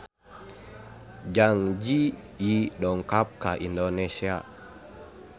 Zang Zi Yi dongkap ka Indonesia